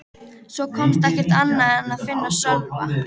Svo komst ekkert annað að en að finna Sölva.